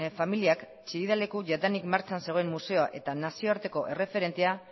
familiak chillida leku jadanik martxan zegoen museoa eta nazioarteko erreferentea